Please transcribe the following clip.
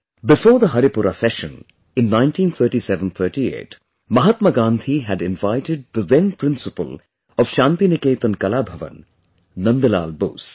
Before the Haripura Session, in 193738, Mahatma Gandhi had invited the then Principal of Shantiniketan Kala Bhavan, Nandlal Bose